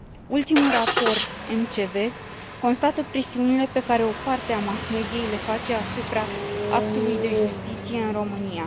Ultimul raport MCV constată presiunile pe care o parte a mass mediei le face asupra actului de justiție în România.